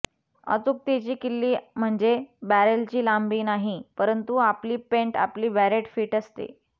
अचूकतेची किल्ली म्हणजे बॅरेलची लांबी नाही परंतु आपली पेंट आपली बॅरेट फिट करते